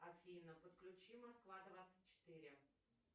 афина подключи москва двадцать четыре